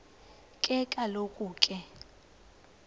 ke kaloku ke